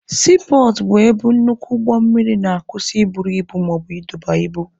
Siipọọtụ bụ ebe nnukwu ụgbọ mmiri na-akwusị i buru ibu maọbụ ịdọba ibu.